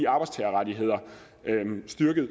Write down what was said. arbejdstagerrettighederne